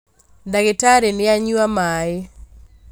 Ndagĩtarĩ nĩanyua maĩ